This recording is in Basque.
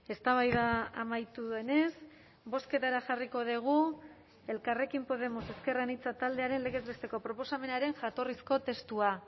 eztabaida amaitu denez bozketara jarriko dugu elkarrekin podemos ezker anitza taldearen legez besteko proposamenaren jatorrizko testua